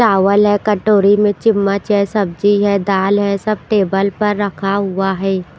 चावल हैं कटोरी में चम्मच है सब्जी है दाल है सब टेबल पर रखा हुआ है।